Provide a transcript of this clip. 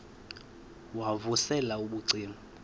wav usel ubucima